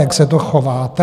Jak se to chováte?